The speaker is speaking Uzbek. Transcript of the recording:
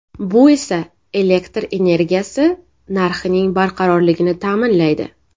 Bu esa elektr energiyasi narxining barqarorligini ta’minlaydi.